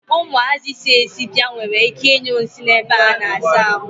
Umuazi si esi bia nwere ike I nyu nsi n'ebe a na-asa ahu.